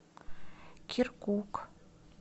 киркук